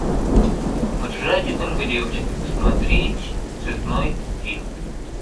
в джазе только девочки посмотреть цветной фильм